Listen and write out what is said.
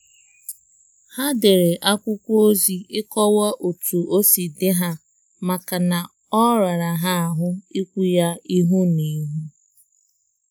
Ha dere akwụkwọ ozi ịkọwa otu osi dị ha maka na ọ rara ha ahụ ikwu ya ihu na ihu